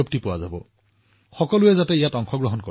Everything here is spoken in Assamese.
মই বিচাৰো যে আপোনালোক সকলোৱে ইয়াত যোগদান কৰক